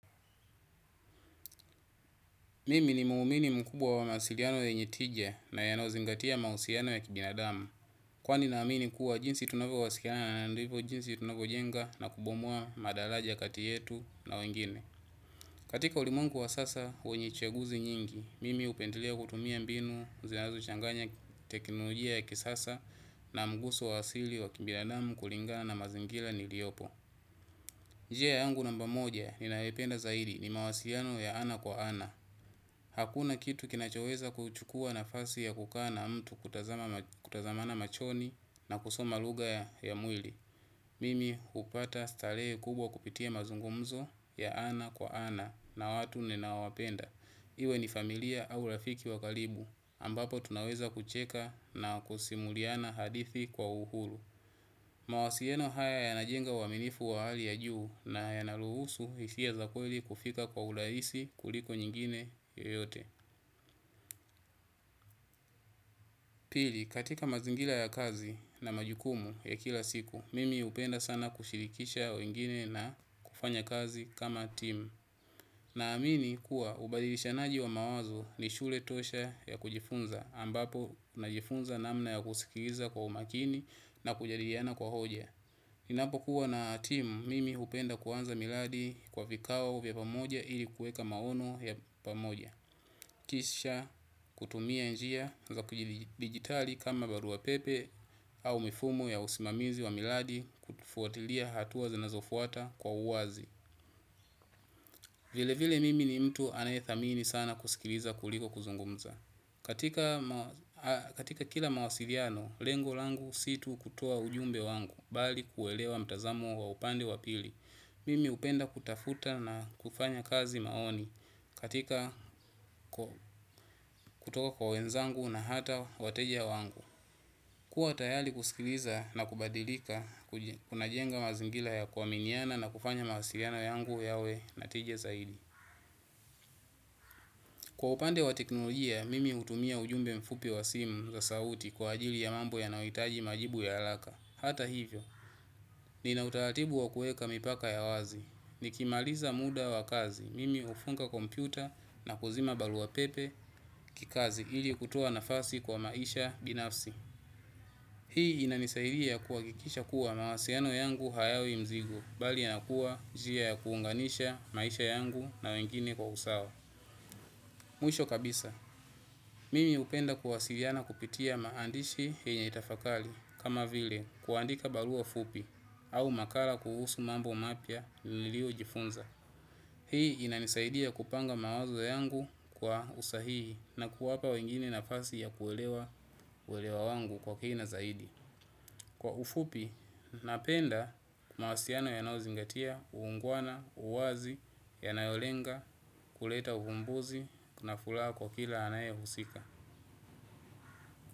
Mimi ni muumini mkubwa wa mawasiliano yenye tije na yanayo zingatia mahusiano ya kibinadamu. Kwani na amini kuwa jinsi tunavo wasiliana na nayo ndivyo jinsi tunavyo jenga na kubomwa madalaja kati yetu na wengine. Katika ulimwengu wa sasa wenye chaguzi nyingi, mimi hupendelea kutumia mbinu, zinazo changanya teknolojia ya kisasa na mguso wa asili wa kibinadamu kulingana na mazingila niliyopo. Njia yaangu namba moja ninayo ipenda zaidi ni mawasiliano ya ana kwa ana. Hakuna kitu kinachoweza kuchukua nafasi ya kukaa na mtu, kutazamana machoni, na kusoma lugha ya mwili. Mimi hupata starehe kubwa kupitia mazungumzo ya ana kwa ana na watu ninaowapenda. Iwe ni familia au rafiki wa kalibu ambapo tunaweza kucheka na kusimuliana hadithi kwa uhuru. Mawasieno haya yanajenga uaminifu wa hali ya juu, na yana ruhusu hisia za kweli kufika kwa ulaisi kuliko nyingine yoyote. Pili, katika mazingila ya kazi na majukumu ya kila siku, mimi hupenda sana kushirikisha wengine na kufanya kazi kama team. Na amini kuwa ubadilishanaji wa mawazo ni shule tosha ya kujifunza, ambapo najifunza namna ya kusikiliza kwa umakini na kujadiriana kwa hoja. Ninapo kuwa na team, mimi hupenda kuanza miladi kwa vikao vya pamoja ili kuweka maono ya pamoja. Kisha kutumia njia za kijidigitali kama baruapepe, au mifumo ya usimamizi wa miladi kutufuatilia hatua zinazofuata kwa uwazi. Vile vile mimi ni mtu anayethamini sana kuskiliza kuliko kuzungumza. Katika kila mawasiliano, lengol angu situ kutoa ujumbe wangu, bali kuelewa mtazamo wa upande wa pili. Mimi hupenda kutafuta na kufanya kazi maoni, katika kutoka kwa wenzangu na hata wateja wangu. Kua tayali kuskiliza, na kubadilika, kuna jenga mazingila ya kuaminiana na kufanya mawasiliano yangu yawe natije zaidi. Kwa upande wa teknolojia, mimi hutumia ujumbe mfupi wa simu za sauti kwa ajili ya mambo ya yanayohitaji majibu ya haraka. Hata hivyo, nina utaratibu wa kueka mipaka ya wazi. Nikimaliza muda wa kazi, mimi hufunga kompyuta na kuzima barua pepe kikazi ili kutoa nafasi kwa maisha binafsi. Hii inanisaidia kuhakikisha kuwa mawasiano yangu hayawi mzigo bali yanakuwa njia ya kuunganisha maisha yangu na wengine kwa usawa. Mwisho kabisa, mimi upenda kuwasiliana kupitia maandishi yenye tafakali kama vile kuandika barua fupi au makala kuhusu mambo mapiya nilio jifunza. Hii inanisaidia kupanga mawazo yangu kwa usahihi na kuwapa wengine nafasi ya kuelewa uelewa wangu kwa kina zaidi. Kwa ufupi, napenda mawasiliano yanayo zingatia, ungwana, uwazi, yanayo lenga kuleta uhumbuzi, na furaha kwa kila anaye husika.